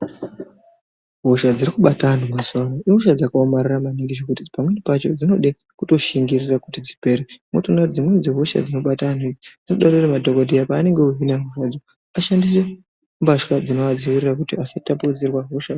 Hosha dziri kubata anhu mazuvano ihosha dzakaomarara maningi zvekuti pamwe pacho dzinode kutoshingirira kuti dzipere. Unotoona kuti dzimweni dzehosha dzinobata anhu idzi, dzinotode kuti madhokodheya paanenge ohina hosha idzi, ashandise mbatya dzinovadziirira kuti asatapudzirwa hosha.